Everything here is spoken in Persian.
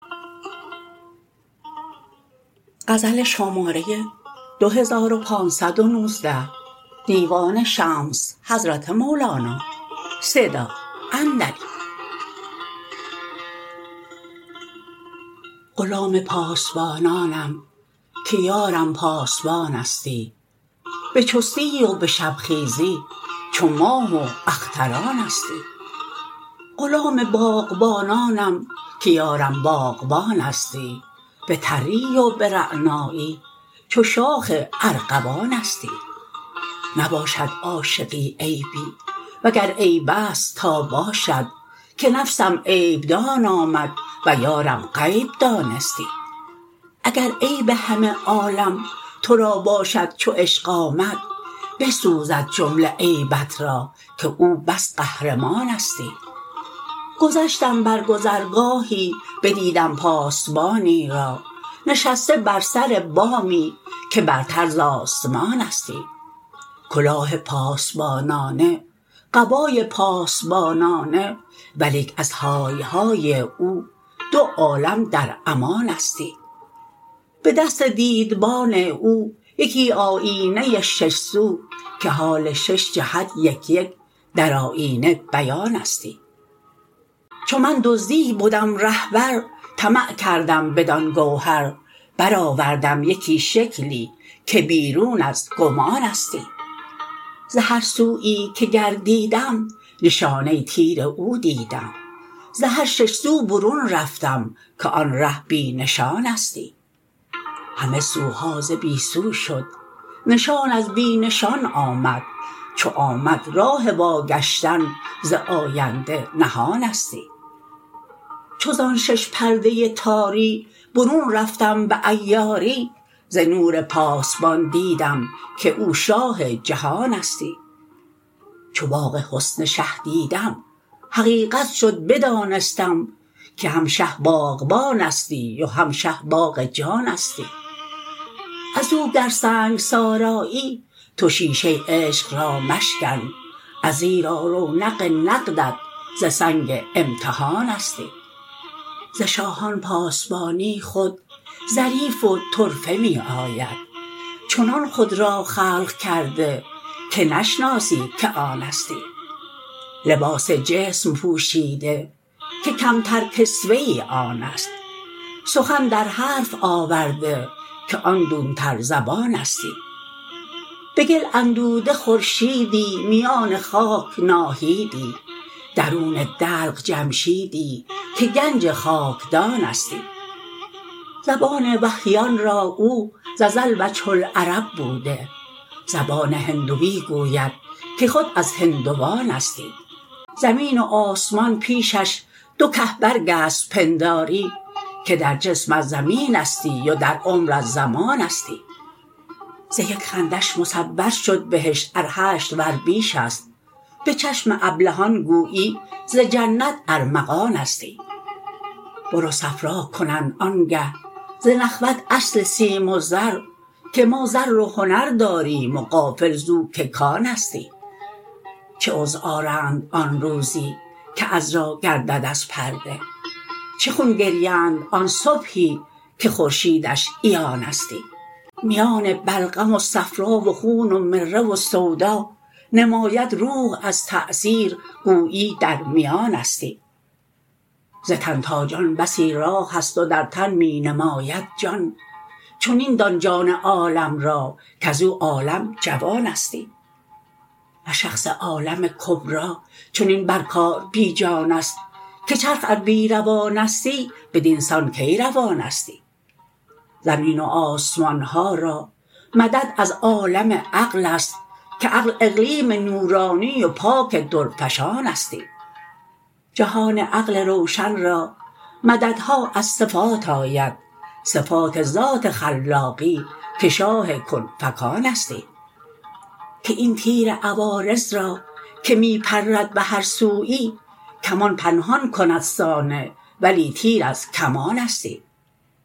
غلام پاسبانانم که یارم پاسبانستی به چستی و به شبخیزی چو ماه و اخترانستی غلام باغبانانم که یارم باغبانستی به تری و به رعنایی چو شاخ ارغوانستی نباشد عاشقی عیبی وگر عیب است تا باشد که نفسم عیب دان آمد و یارم غیب دانستی اگر عیب همه عالم تو را باشد چو عشق آمد بسوزد جمله عیبت را که او بس قهرمانستی گذشتم بر گذرگاهی بدیدم پاسبانی را نشسته بر سر بامی که برتر ز آسمانستی کلاه پاسبانانه قبای پاسبانانه ولیک از های های او دو عالم در امانستی به دست دیدبان او یکی آیینه ای شش سو که حال شش جهت یک یک در آیینه بیانستی چو من دزدی بدم رهبر طمع کردم بدان گوهر برآوردم یکی شکلی که بیرون از گمانستی ز هر سویی که گردیدم نشانه تیر او دیدم ز هر شش سو برون رفتم که آن ره بی نشانستی همه سوها ز بی سو شد نشان از بی نشان آمد چو آمد راه واگشتن ز آینده نهانستی چو زان شش پرده تاری برون رفتم به عیاری ز نور پاسبان دیدم که او شاه جهانستی چو باغ حسن شه دیدم حقیقت شد بدانستم که هم شه باغبانستی و هم شه باغ جانستی از او گر سنگسار آیی تو شیشه عشق را مشکن ازیرا رونق نقدت ز سنگ امتحانستی ز شاهان پاسبانی خود ظریف و طرفه می آید چنان خود را خلق کرده که نشناسی که آنستی لباس جسم پوشیده که کمتر کسوه آن است سخن در حرف آورده که آن دونتر زبانستی به گل اندوده خورشیدی میان خاک ناهیدی درون دلق جمشیدی که گنج خاکدانستی زبان وحییان را او ز ازل وجه العرب بوده زبان هندوی گوید که خود از هندوانستی زمین و آسمان پیشش دو که برگ است پنداری که در جسم از زمینستی و در عمر از زمانستی ز یک خندش مصور شد بهشت ار هشت ور بیش است به چشم ابلهان گویی ز جنت ارمغانستی بر او صفرا کنند آنگه ز نخوت اصل سیم و زر که ما زر و هنر داریم و غافل زو که کانستی چه عذر آرند آن روزی که عذرا گردد از پرده چه خون گریند آن صبحی که خورشیدش عیانستی میان بلغم و صفرا و خون و مره و سودا نماید روح از تأثیر گویی در میانستی ز تن تا جان بسی راه است و در تن می نماند جان چنین دان جان عالم را کز او عالم جوانستی نه شخص عالم کبری چنین بر کار بی جان است که چرخ ار بی روانستی بدین سان کی روانستی زمین و آسمان ها را مدد از عالم عقل است که عقل اقلیم نورانی و پاک درفشانستی جهان عقل روشن را مددها از صفات آید صفات ذات خلاقی که شاه کن فکانستی که این تیر عوارض را که می پرد به هر سویی کمان پنهان کند صانع ولی تیر از کمانستی اگر چه عقل بیدار است آن از حی قیوم است اگر چه سگ نگهبان است تأثیر شبانستی چو سگ آن از شبان بیند زیانش جمله سودستی چو سگ خود را شبان بیند همه سودش زیانستی چو خود را ملک او بینی جهان اندر جهان باشی وگر خود را ملک دانی جهان از تو جهانستی تو عقل کل چو شهری دان سواد شهر نفس کل و این اجزا در آمدشد مثال کاروانستی خنک آن کاروانی کان سلامت با وطن آید غنیمت برده و صحت و بختش همعنانستی خفیر ارجعی با او بشیر ابشروا بر ره سلام شاه می آرند و جان دامن کشانستی خواطر چون سوارانند و زوتر زی وطن آیند و یا بازان و زاغانند پس در آشیانستی خواطر رهبرانند و چو رهبر مر تو را بار است مقامت ساعد شه دان که شاه شه نشانستی وگر زاغ است آن خاطر که چشمش سوی مردار است کسی کش زاغ رهبر شد به گورستان روانستی چو در مازاغ بگریزی شود زاغ تو شهبازی که اکسیر است شادی ساز او را کاندهانستی گر آن اصلی که زاغ و باز از او تصویر می یابد تجلی سازدی مطلق اصالت را یگانستی ور آن نوری کز او زاید غم و شادی به یک اشکم دمی پهلو تهی کردی همه کس شادمانستی همه اجزا همی گویند هر یک ای همه تو تو همین گفت ار نه پرده ستی همه با همگنانستی درخت جان ها رقصان ز باد این چنین باده گران باد آشکارستی نه لنگر بادبانستی درای کاروان دل به گوشم بانگ می آرد گر آن بانگش به حس آید هر اشتر ساربانستی درافتد از صدف هر دم صدف بازش خورد در دم وگر نه عین کری هم کران را ترجمانستی سهیل شمس تبریزی نتابد در یمن ور نی ادیم طایفی گشتی به هر جا سختیانستی ضیاوار ای حسام الدین ضیاء الحق گواهی ده ندیدی هیچ دیده گر ضیا نه دیدبانستی گواهی ضیا هم او گواهی قمر هم رو گواهی مشک اذفربو که بر عالم وزانستی اگر گوشت شود دیده گواهی ضیا بشنو ولی چشم تو گوش آمد که حرفش گلستانستی چو از حرفی گلستانی ز معنی کی گل استانی چو پا در قیر جزوستت حجابت قیروانستی کتاب حس به دست چپ کتاب عقل دست راست تو را نامه به چپ دادند که بیرون ز آستانستی چو عقلت طبع حس دارد و دست راست خوی چپ و تبدیل طبیعت هم نه کار داستانستی خداوندا تو کن تبدیل که خود کار تو تبدیل است که اندر شهر تبدیلت زبان ها چون سنانستی عدم را در وجود آری از این تبدیل افزونتر تو نور شمع می سازی که اندر شمعدانستی تو بستان نامه از چپم به دست راستم درنه تو تانی کرد چپ را راست بنده ناتوانستی ترازوی سبک دارم گرانش کن به فضل خود تو که را که کنی زیرا نه کوه از خود گرانستی کمال لطف داند شد کمال نقص را چاره که قعر دوزخ ار خواهی به از صدر جنانستی